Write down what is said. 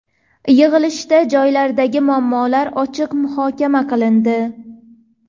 Yig‘ilishda joylardagi muammolar ochiq muhokama qilindi.